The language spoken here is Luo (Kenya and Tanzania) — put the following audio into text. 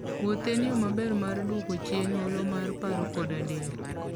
Wuoth en yo maber mar duoko chien olo mar paro koda del.